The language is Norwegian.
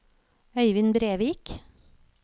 Øyvind Brevik